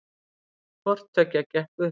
Hvorttveggja gekk upp